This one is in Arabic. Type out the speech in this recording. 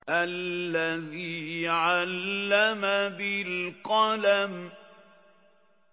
الَّذِي عَلَّمَ بِالْقَلَمِ